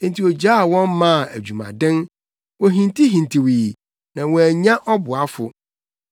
Enti ogyaa wɔn maa adwumaden; wohintihintiwii, na wɔannya ɔboafo.